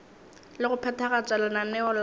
le go phethagatša lenaneo la